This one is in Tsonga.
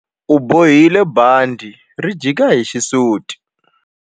A bohile bandhi ri jika hi xisuti.